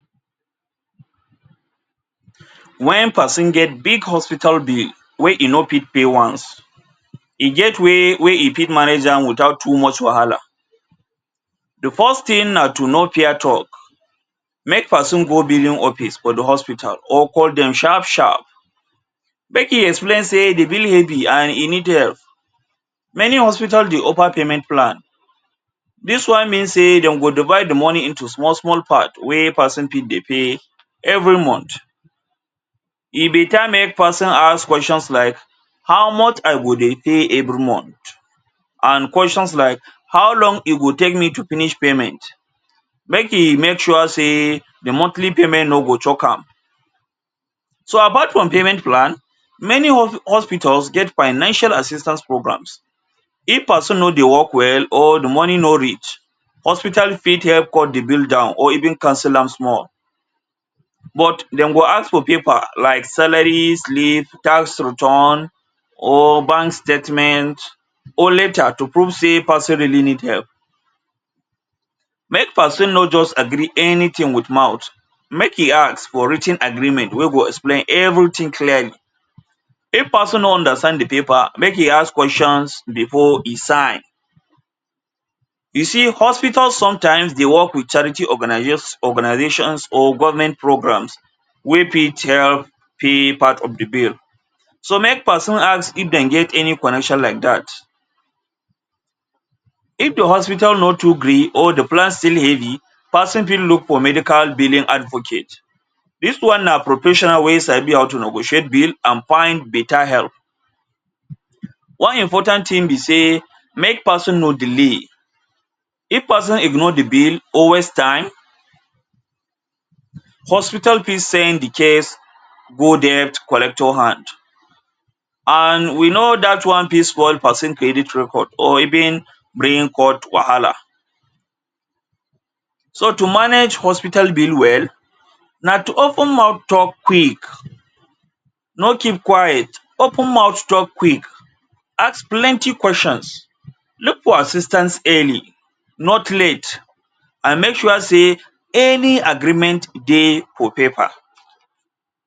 Wen person get big hospital bill wey e no fit pay once, e get way way e fit manage am without too much wahala. De first thing na to no fear talk. Make person go billing office for de hospital or call dem sharp sharp. Make im explain sey de billing heavy and e need help. Many hospital dey offer payment plan. Dis one mean sey dem go divide de money into small small part wey person fit dey pay every month. E better make person ask questions like, “how much I go dey pay every month?” and questions like, “how long e go take me to finish payment?” Make e make sure sey de monthly payment no go choke am. So apart from payment plan, many hos pitals get financial assistance programs. If person no dey work well or de money no reach, hospital fit help cut de bill down or even cancel am small but dem go ask for paper like salary slip, tax return or bank statement or letter to prove sey person really need help. Make person no just agree anything wit mouth, make e ask for writ ten agreement wey go explain everything clearly. If person no understand de paper, make e ask questions before e sign. You see hospital sometimes dey work wit charity organiz ations or government programs wey fit help pay part of de bill. So make person ask if dem get any connection like dat. If your hospital no too gree or de plan still heavy, person fit look for medical billing advocate. Dis one na professional wey sabi how to negotiate bill and find better help. One important thing be sey make person no delay. If person ignore de bill or waste time, hospital fit send de case go debt collector hand and we know dat one fit spoil person credit record or even bring court wahala. So to manage hospital bill well, na to open mouth talk quick. No keep quiet, open mouth talk quick. Ask plenty questions. Look for assistance early, not late. And make sure sey any agreement dey for paper.